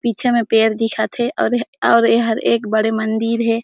पीछे में पेड़ दिखत हे और यह और एहर एक बड़े मंदिर हे।